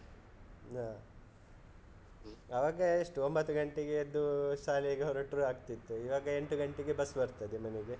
ಹಾ, ಅವಾಗ ಎಷ್ಟು ಒಂಬತ್ತು ಗಂಟೆಗೆ ಎದ್ದು ಶಾಲೆಗೆ ಹೊರಟ್ರು ಆಗ್ತಿತ್ತು, ಇವಾಗ ಎಂಟು ಗಂಟೆಗೆ bus ಬರ್ತದೆ ಮನೆಗೆ.